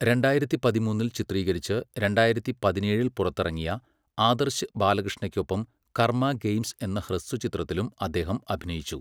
രണ്ടായിരത്തി പതിമൂന്നിൽ ചിത്രീകരിച്ച് രണ്ടായിരത്തി പതിനേഴിൽ പുറത്തിറങ്ങിയ ആദർശ് ബാലകൃഷ്ണയ്ക്കൊപ്പം 'കർമ്മ ഗെയിംസ്' എന്ന ഹ്രസ്വചിത്രത്തിലും അദ്ദേഹം അഭിനയിച്ചു.